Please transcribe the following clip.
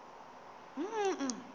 boqwabi